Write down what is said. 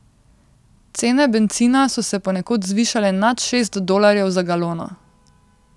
Cene bencina so se ponekod zvišale nad šest dolarjev za galono.